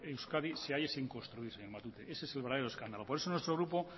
euskadi se halle sin construir señor matute ese es el verdadero escándalo por eso nuestro grupo